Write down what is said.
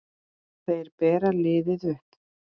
Þeir bera liðið uppi.